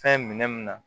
Fɛn minɛ mun na